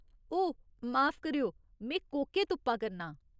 ओह्, माफ करेओ, में कोके तुप्पा करनां ।